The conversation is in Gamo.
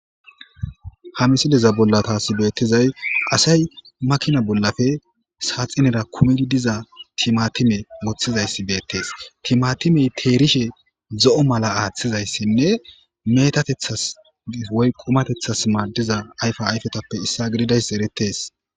ha misiliza bolla taasi beettizay asay makina bollafe saaxinera kumedi diza timatime woththizayssi beettees timatimey teerishe zo'o mala aaththizayssinne metatethas woy qumatethas maadiza ayfa ayfetappe issa gididays eretes